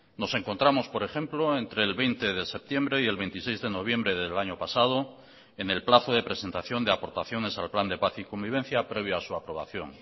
nos encontramos por ejemplo entre el veinte de septiembre y el veintiséis de noviembre del año pasado en el plazo de presentación de aportaciones al plan de paz y convivencia previa a su aprobación